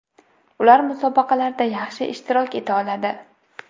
Ular musobaqalarda yaxshi ishtirok eta oladi.